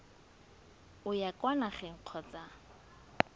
o ya kwa nageng kgotsa